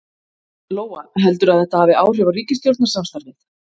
Lóa: Heldurðu að þetta hafi áhrif á ríkisstjórnarsamstarfið?